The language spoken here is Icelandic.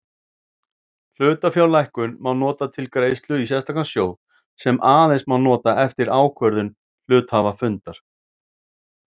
Hlutafjárlækkun má nota til greiðslu í sérstakan sjóð sem aðeins má nota eftir ákvörðun hluthafafundar.